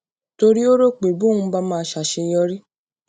torí ó rò pé bóun bá máa ṣàṣeyọrí